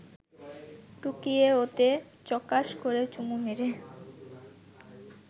টুকিয়ে ওতে চকাশ করে চুমু মেরে